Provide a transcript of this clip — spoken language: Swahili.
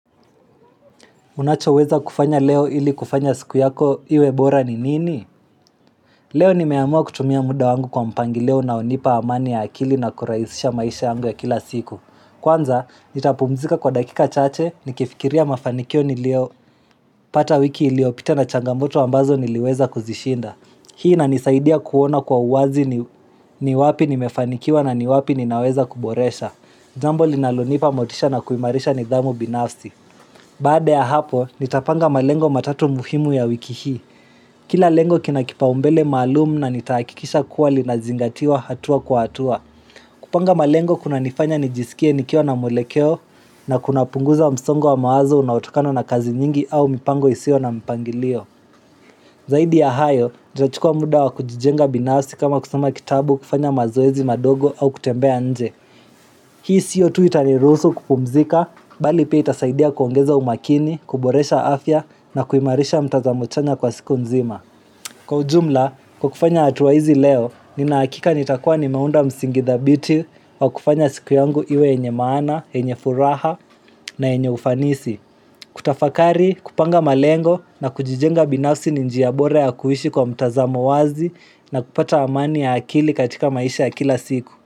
Unachoweza kufanya leo ili kufanya siku yako iwe bora ni nini? Leo nimeamua kutumia muda wangu kwa mpangilio unaonipa amani ya akili na kurahisisha maisha yangu ya kila siku. Kwanza, nitapumzika kwa dakika chache, nikifikiria mafanikio nilio pata wiki iliopita na changamoto ambazo niliweza kuzishinda. Hii inanisaidia kuona kwa uwazi ni wapi nimefanikiwa na ni wapi ninaweza kuboresha. Jambo linalonipa motisha na kuimarisha nidhamu binafsi. Baada ya hapo, nitapanga malengo matatu muhimu ya wiki hii. Kila lengo kina kipaumbele maalum na nitahakikisha kuwa linazingatiwa hatua kwa hatua. Kupanga malengo kunanifanya nijisikie nikiwa na mwelekeo na kuna punguza msongo wa mawazo unaotokana na kazi nyingi au mipango isio na mpangilio. Zaidi ya hayo, ntachukua muda wa kujijenga binafsi kama kusoma kitabu kufanya mazoezi madogo au kutembea nje. Hii siyo tu itanirusu kupumzika, bali pia itasaidia kuongeza umakini, kuboresha afya na kuimarisha mtazamo chanya kwa siku mzima. Kwa ujumla, kwa kufanya hatuwa hizi leo, nina hakika nitakuwa nimeunda msingi thabiti wa kufanya siku yangu iwe yenye maana, yenye furaha na yenye ufanisi. Kutafakari, kupanga malengo na kujijenga binafsi ni njia bora ya kuishi kwa mtazamo wazi na kupata amani ya akili katika maisha ya kila siku.